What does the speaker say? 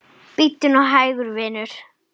Bíddu nú hægur, vinur.